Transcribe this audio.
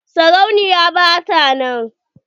sarauniya ba ta nan.